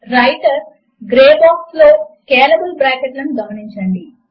writer grey box లో scalable bracket లను గమనించండి